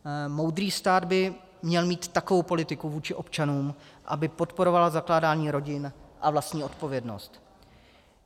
Moudrý stát by měl mít takovou politiku vůči občanům, aby podporovala zakládání rodin a vlastní odpovědnost.